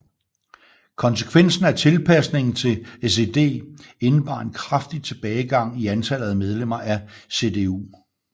Konsekvensen af tilpasningen til SED indebar en kraftig tilbagegang i antallet af medlemmer af CDU